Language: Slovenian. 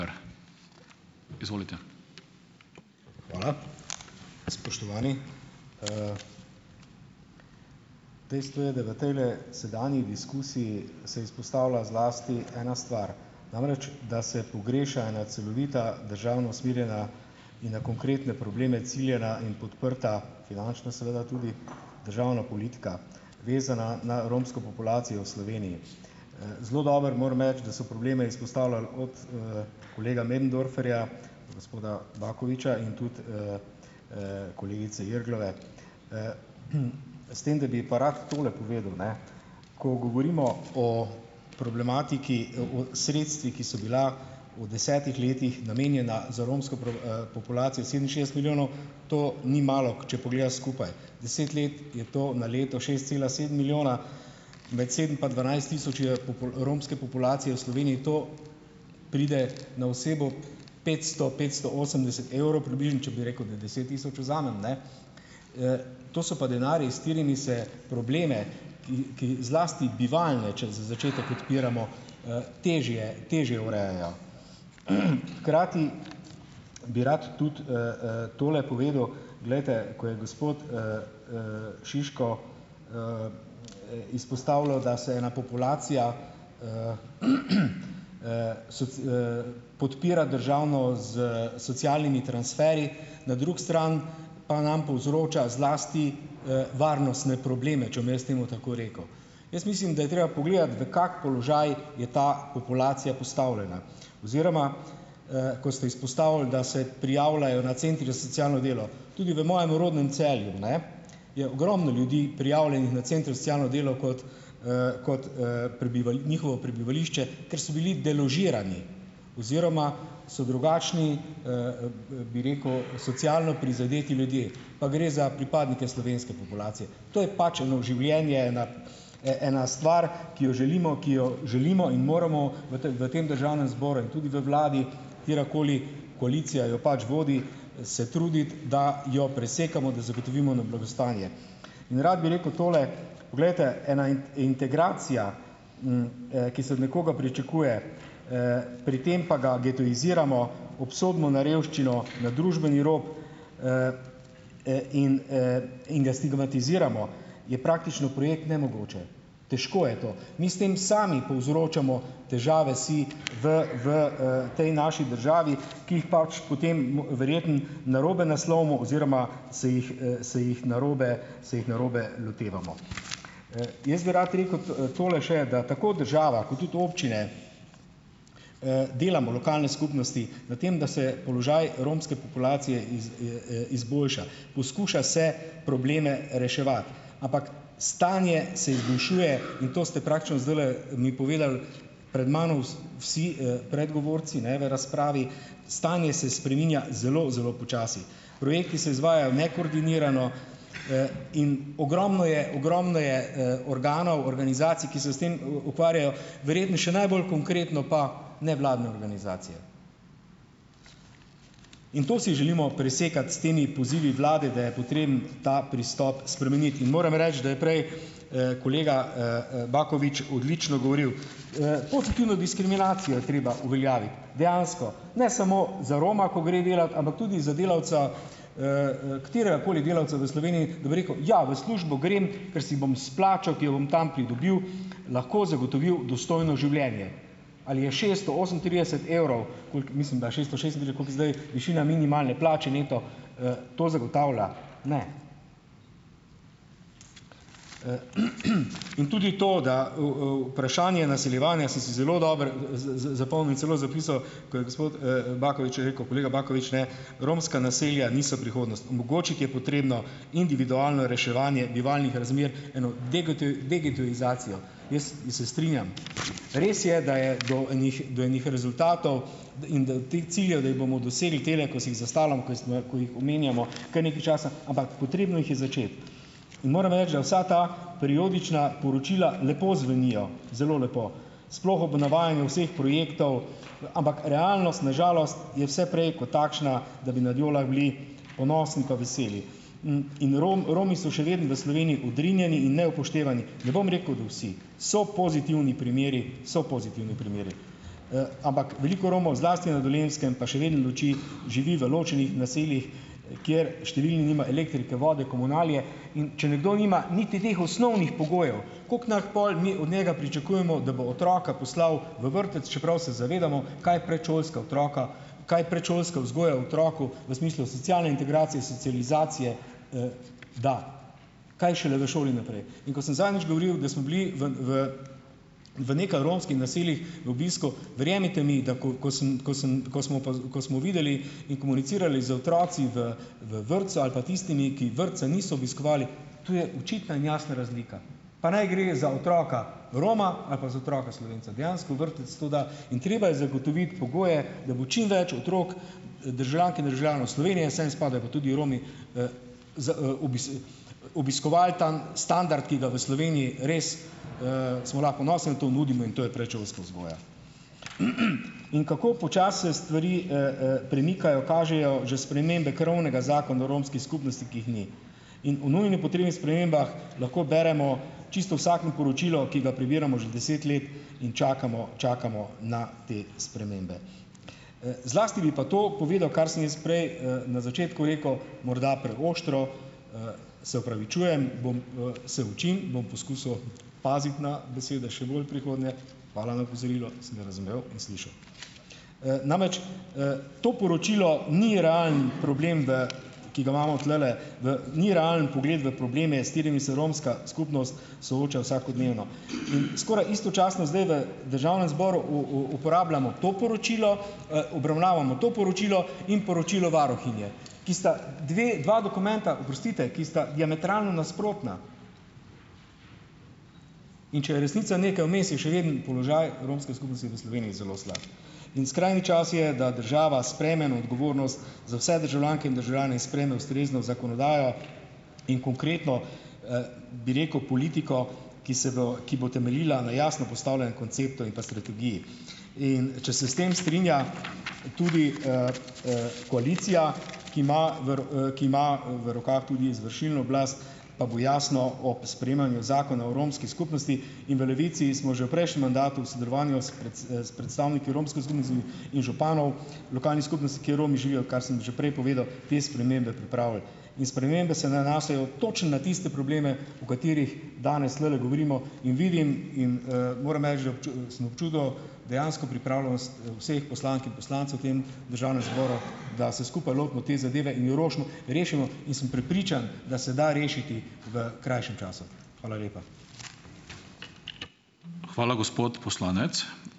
Hvala. Spoštovani, dejstvo je, da v tejle sedanji diskusiji se izpostavlja zlasti ena stvar, namreč da se pogreša ena celovita državno usmerjena in na konkretne probleme ciljana in podprta, finančna seveda tudi, državna politika, vezana na romsko populacijo v Sloveniji. Zelo dobro, moram reči, da so probleme izpostavljali od,, kolega Möderndorferja, gospoda Bakoviča in tudi, kolegice Irglove. S tem da bi pa rad tole povedal, ne; ko govorimo o problematiki, o sredstvih, ki so bila v desetih letih namenjena za romsko populacijo - sedeminšestdeset milijonov - to ni malo, če pogledaš skupaj. Deset let je to na leto šest cela sedem milijona, med sedem pa dvanajst tisoč je romske populacije v Sloveniji, to pride na osebo petsto, petsto osemdeset evrov približno, če bi rekel, da deset tisoč vzamem, ne. To so pa denarji, s katerimi se probleme, ki, ki zlasti bivalne, če za začetek odpiramo, težje težje urejajo. Hkrati bi rad tudi, tole povedal, glejte, ko je gospod, Šiško, izpostavljal, da se je ena populacija, podpira državno s socialnimi transferji, na drugi stran pa nam povzroča zlasti, varnostne probleme, če bom jaz temu tako rekel. Jaz mislim, da je treba pogledati v kak položaj je ta populacija postavljena oziroma, ko ste izpostavili, da se prijavljajo na centrih za socialno delo. Tudi v mojem rodnem Celju, ne, je ogromno ljudi prijavljenih na centru za socialno delo kot, kot, njihovo prebivališče, ker so bili deložirani oziroma so drugačni, bi rekel, socialno prizadeti ljudje. Pa gre za pripadnike slovenske populacije. To je pač eno življenje, ena, ena stvar, ki jo želimo, ki jo želimo in moramo v v tem državnem zboru in tudi v vladi, katerakoli koalicija jo pač vodi, se truditi, da jo presekamo, da zagotovimo eno blagostanje. In rad bi rekel tole, poglejte. Ena integracija, ki se od nekoga pričakuje pri tem pa ga getoiziramo, obsodimo na revščino, na družbeni rob, in, in ga stigmatiziramo, je praktično projekt nemogoče. Težko je to. Mi s tem sami povzročamo težave si v v, tej naši državi, ki jih pač potem verjetno narobe naslovimo oziroma se jih, se jih narobe, se jih narobe lotevamo. Jaz bi rad rekel tole še, da tako država, kot tudi občine, delamo lokalne skupnosti na tem, da se položaj romske populacije izboljša. Poskuša se probleme reševati. Ampak stanje se izboljšuje in to ste praktično zdajle mi povedali, pred mano vsi, predgovorci, ne, v razpravi, stanje se spreminja zelo, zelo počasi. Projekti se izvajajo nekoordinirano, in ogromno je, ogromno je, organov, organizacij, ki se s tem, ukvarjajo. Verjetno še najbolj konkretno pa nevladne organizacije. In to si želimo presekati s temi pozivi vlade, da je potreben ta pristop spremeniti. In moram reči, da je prej, kolega, Bakovič odlično govoril. Pozitivno diskriminacijo je treba uveljaviti, dejansko. Ne samo za Roma, ko gre delat, ampak tudi za delavca, kateregakoli delavca v Sloveniji, da bo rekel: "Ja, v službo grem, ker si bom s plačo, ki jo bom tam pridobil, lahko zagotovil dostojno življenje." Ali je šesto osemintrideset evrov, koliko, mislim da je šesto šestintrideset, ali koliko je zdaj, višina minimalne plače neto, to zagotavlja? Ne. In tudi to, da vprašanje naseljevanja sem si zelo dobro zapomnil, celo zapisal, ko je gospod, Bakovič rekel, kolega Bakovič, ne, romska naselja niso prihodnost, omogočiti je potrebno individualno reševanje bivalnih razmer, eno degetoizacijo. Jaz se strinjam, res je, da je do enih do enih rezultatov, in da teh ciljev, da jih bomo dosegli tele, ko si jih zastavljam, ko smo, ko jih omenjamo, kar nekaj časa, ampak potrebno jih je začeti, in moram reči, da vsa ta periodična poročila lepo zvenijo, zelo lepo, sploh ob navajanju vseh projektov, ampak realnost na žalost je vse prej kot takšna, da bi nad njo lahko bili ponosni pa veseli. In Romi so še vedno v Sloveniji odrinjeni in neupoštevani. Ne bom rekel da vsi, so pozitivni primeri, so pozitivni primeri. Ampak veliko Romov zlasti na Dolenjskem pa še vedno živi v ločenih naseljih, kjer številni nima elektrike, vode, komunalije, in če nekdo nima niti teh osnovnih pogojev, kako lahko pol mi od njega pričakujemo, da bo otroka poslal v vrtec, čeprav se zavedamo, kaj predšolska otroka kaj predšolske vzgoje otroku v smislu socialne integracije, socializacije, da, kaj šele v šoli naprej. In ko sem zadnjič govoril, da smo bili v v v nekaj romskih naseljih v obisku, verjemite mi, da ko ko sem, ko sem, ko smo, ko smo videli in komunicirali z otroki v v vrtcu ali pa tistimi, ki vrtca niso obiskovali, tu je očitna in jasna razlika, pa naj gre za otroka Roma ali pa za otroka Slovenca. Dejansko vrtec to da in treba je zagotoviti pogoje, da bo čim več otrok, državljank in državljanov Slovenije, sem spadajo pa tudi Romi, z, obiskoval tam standard, ki ga v Sloveniji res, smo lahko ponosni, da to nudimo, in to je predšolska vzgoja. In kako počasi se stvari, premikajo, kažejo že spremembe krovnega Zakona o romski skupnosti, ki jih ni. In o nujno potrebnih spremembah lahko beremo čisto vsako poročilo, ki ga prebiramo že deset let, in čakamo, čakamo na te spremembe. Zlasti bi pa to povedal, kar sem jaz prej, na začetku rekel, morda preostro, se opravičujem, bom, se učim, bom poskusil paziti na besede še bolj v prihodnje, hvala na opozorilo, sem ga razumel in slišal. Namreč, to poročilo ni realen problem v, ki ga imamo tulele v, ni realen pogled v probleme, s katerimi se romska skupnost sooča vsakodnevno in skoraj istočasno zdaj v državnem zboru uporabljamo to poročilo, obravnavamo to poročilo in poročilo varuhinje, ki sta dve, dva dokumenta, oprostite, ki sta diametralno nasprotna. In če je resnica nekaj vmes, je še vedno položaj romske skupnosti v Sloveniji zelo slab. In skrajni čas je, da država sprejme na odgovornost za vse državljanke in državljane in sprejme ustrezno zakonodajo in konkretno, bi rekel, politiko, ki se bo, ki bo temeljila na jasno postavljenem konceptu in pa strategiji. In če se s tem strinja tudi, koalicija, ki ima ki ima v rokah tudi izvršilno oblast, pa bo jasno o sprejemanju Zakona o romski skupnosti in v Levici smo že v prejšnjem mandatu v sodelovanju s s predstavniki romske skupnosti in županov lokalnih skupnosti, kjer Romi živijo, kar sem že prej povedal, te spremembe pripravili. In spremembe se nanašajo točno na tiste probleme, o katerih danes tulele govorimo, in vidim in, moram reči, da, sem občudoval dejansko pripravljenost, vseh poslank in poslancev v tem državnem zboru, da se skupaj lotimo te zadeve in rošmo rešimo, in sem prepričan, da se da rešiti v krajšem času. Hvala lepa.